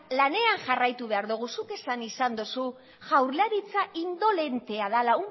lanean jarraitu behar dogu zuk esan izan dozu jaurlaritza indolentea dela